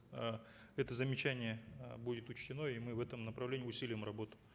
э это замечание э будет учтено и мы в этом направлении усилим работу